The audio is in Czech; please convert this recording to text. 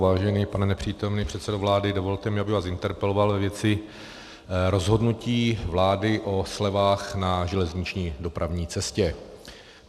Vážený pane nepřítomný předsedo vlády, dovolte mi, abych vás interpeloval ve věci rozhodnutí vlády o slevách na železniční dopravní cestě.